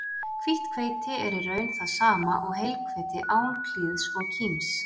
Hvítt hveiti er í raun það sama og heilhveiti án klíðs og kíms.